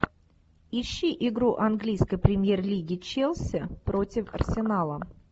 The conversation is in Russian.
ищи игру английской премьер лиги челси против арсенала